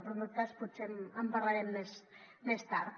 però en tot cas potser en parlarem més tard